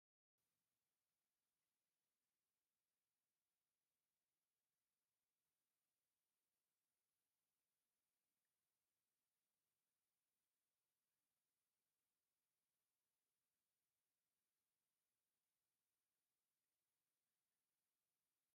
እዚ ቀጠልያ ቆጽሊ ዘለዎ ናይ ፍረ ወይ ኣሕምልቲ ተኽሊ የርኢ። ኣቝጽልቱ ድሙቕ ቀጠልያ ሕብሪ ዘለዎ ኮይኑ፡ ንጥዕና ዝውክል ይመስል። እዚ ዳማ ንጽህናን ጽባቐ ተፈጥሮን ዘንጸባርቕ ቀጠልያ ባህታ እዩ።